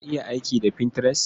Ka iya aiki da Pinterest?